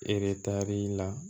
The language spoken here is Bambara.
Eretari la